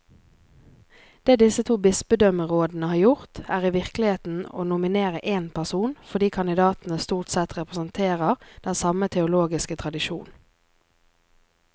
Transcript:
Det disse to bispedømmerådene har gjort, er i virkeligheten å nominere én person, fordi kandidatene stort sett representerer den samme teologiske tradisjon.